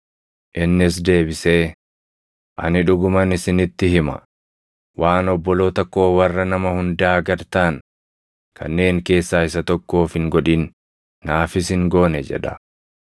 “Innis deebisee, ‘Ani dhuguman isinitti hima; waan obboloota koo warra nama hundaa gad taʼan kanneen keessaa isa tokkoof hin godhin naafis hin goone’ jedha.